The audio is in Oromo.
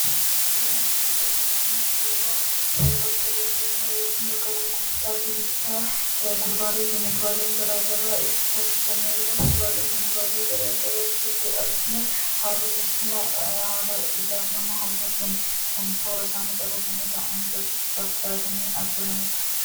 suuraan asirratti arginu kunis suuraa bakka daldalaa yookiin bakka bittaa fi gurgurtaa kuduraalee fi muduraaleen garaagaraa itti taasifamu yoo ta'u, kuduraalee fi fuduraalee asitti arginu haala teessuma ijaaf nama hawwatuun toora isaanii qabatanii taa'anii gurgurtaaf dhiyaatanii jiranidha.